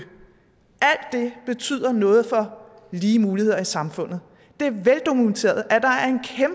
er noget for lige muligheder i samfundet det er veldokumenteret at der